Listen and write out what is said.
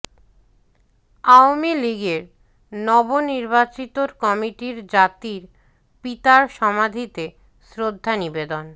আওয়ামী লীগের নবনির্বাচিত কমিটির জাতির পিতার সমাধিতে শ্রদ্ধা নিবেদন